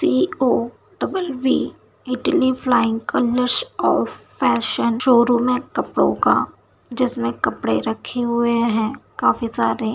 CO. Double B Italy flying colours of fashion showroom है कपड़ो का जिसमें कपड़े रखे हुए है काफी सारे।